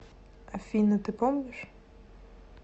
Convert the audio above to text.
афина ты помнишь